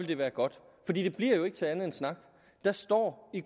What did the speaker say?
det være godt for det bliver jo ikke til andet end snak der står i